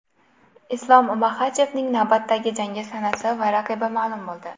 Islom Maxachevning navbatdagi jangi sanasi va raqibi ma’lum bo‘ldi.